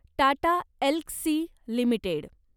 Tata Elxsi limited